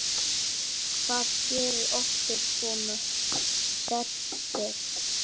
Hvað gerir okkur svona sérstök?